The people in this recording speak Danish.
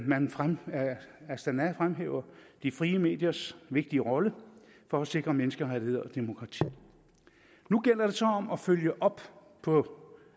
man fra astana fremhæver de frie mediers vigtige rolle for at sikre menneskerettigheder og demokrati nu gælder det så om at følge op på